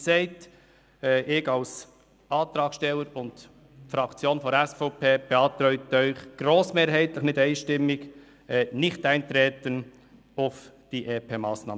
Ich als Antragssteller und die Fraktion der SVP beantragen Ihnen grossmehrheitlich, nicht einstimmig, das Nichteintreten auf diese EP-18-Massnahme.